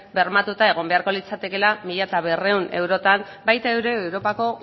bermatuta egon beharko litzatekeela mila berrehun eurotan baita ere europako